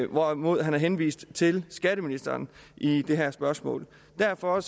hvorimod han har henvist til skatteministeren i det her spørgsmål derfor